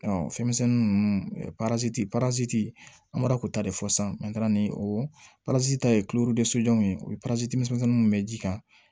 fɛnmisɛnnin ninnu parasiti parasiti an bɔra k'o ta de fɔ sisan ni o ta ye ye o ye misɛnnin minnu bɛ ji kan